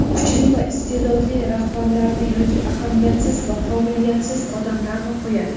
kuchli va iste’dodli rahbarlarni yoki ahamiyatsiz va qobiliyatsiz odamlarni qo‘yadi.